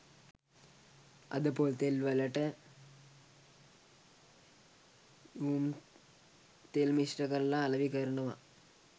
අද පොල්තෙල්වලට µම් තෙල් මිශ්‍ර කරලා අලවි කරනවා